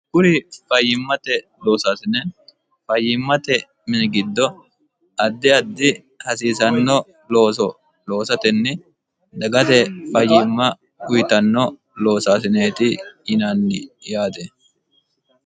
kuri fayyimmate loosaasine fayyimmate mii giddo addi addi hasiisanno looso loosatenni dagate fayyimma kuyitanno loosaasineeti yinanni yaate